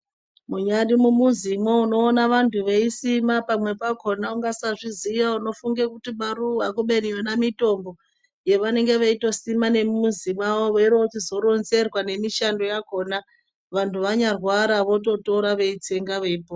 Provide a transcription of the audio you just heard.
Munyari mumizimo unoona vantu veisima umwe pakona ukasazviziva munofunga kuti maruwa ubeni mitombo yavanenge veitosima nemumuzi mawo veichizoronzerwa nemishando yakona vantu vanyarwara veitora veutsenga.